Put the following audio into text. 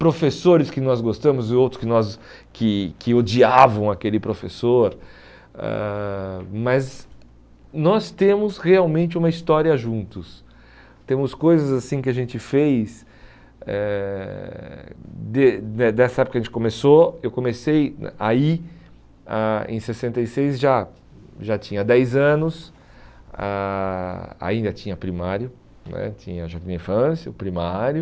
professores que nós gostamos e outros que nós que que odiavam aquele professor ãh mas nós temos realmente uma história juntos temos coisas assim que a gente fez eh de de dessa época que a gente começou, eu comecei aí ah em sessenta e seis já já tinha dez anos ah ainda tinha primário né tinha jardim da infância, o primário